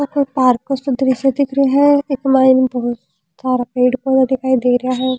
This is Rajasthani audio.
ओ कोई पार्क काे सो दृश्य दिख रियो है इक मायने बहुत सारा पेड़ पौधे दिखाई दे रिया है।